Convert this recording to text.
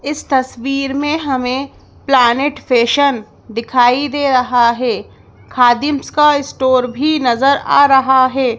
इस तस्वीर में हमें प्लानेट फैशन दिखाई दे रहा है खादिम्स का स्टोर भी नजर आ रहा है।